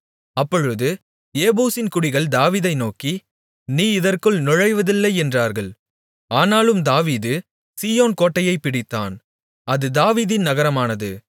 அப்பொழுது ஏபூசின் குடிகள் தாவீதை நோக்கி நீ இதற்குள் நுழைவதில்லை என்றார்கள் ஆனாலும் தாவீது சீயோன் கோட்டையைப் பிடித்தான் அது தாவீதின் நகரமானது